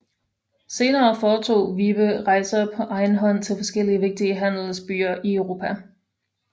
Senere foretog Vibe rejser på egen hånd til forskellige vigtige handelsbyer i Europa